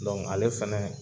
ale fɛnɛ